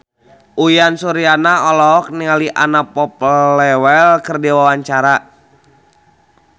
Uyan Suryana olohok ningali Anna Popplewell keur diwawancara